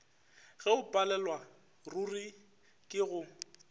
ge o palelwaruri ke go